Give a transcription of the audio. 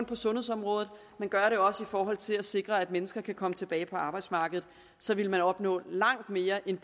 på sundhedsområdet men også i forhold til at sikre at mennesker kan komme tilbage på arbejdsmarkedet så ville man opnå langt mere end